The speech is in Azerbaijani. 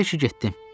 Bəlkə getdi.